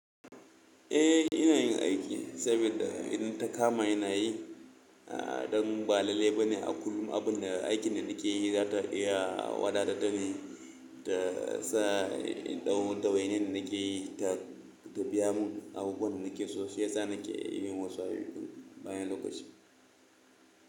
Eh ina yin aiki saboda idan ta kama ina yi, a don ba lalle ba ne a kullum abun da aikin da nake yi za ta iya wadata da ni ta sa indau dawainin nake da ita ta biya mun abubuwan da nake so shi yasa nake yin wasu ayyukan bayan lokaci.